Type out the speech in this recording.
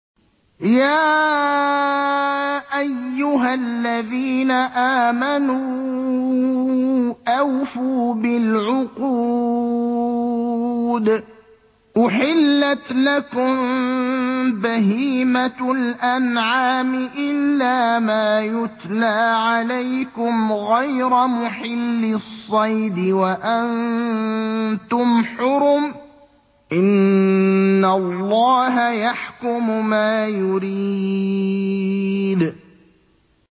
يَا أَيُّهَا الَّذِينَ آمَنُوا أَوْفُوا بِالْعُقُودِ ۚ أُحِلَّتْ لَكُم بَهِيمَةُ الْأَنْعَامِ إِلَّا مَا يُتْلَىٰ عَلَيْكُمْ غَيْرَ مُحِلِّي الصَّيْدِ وَأَنتُمْ حُرُمٌ ۗ إِنَّ اللَّهَ يَحْكُمُ مَا يُرِيدُ